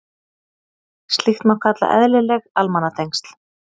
Slíkt má kalla eðlileg almannatengsl.